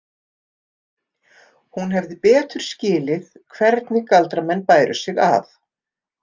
Hún hefði skilið betur hvernig galdramenn bæru sig að.